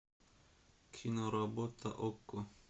киноработа окко